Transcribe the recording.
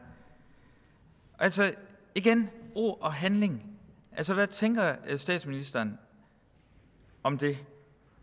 altså igen ord og handling hvad tænker statsministeren om det